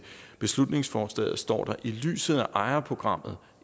beslutningsforslaget står der at i lyset af ejerprogrammet